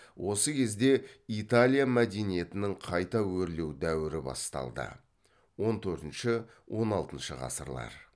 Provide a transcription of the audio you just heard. осы кезде италия мәдениетінің қайта өрлеу дәуірі басталды